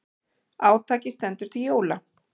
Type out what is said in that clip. Átakið stendur til jóla.